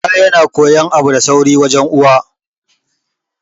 Ɗa yana koyon abu da sauri ne wajen uwa